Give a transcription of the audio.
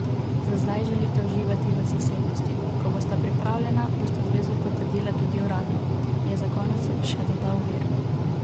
Za zdaj želita uživati v zasebnosti: ''Ko bosta pripravljena, bosta zvezo potrdila tudi uradno,'' je za konec še dodal vir.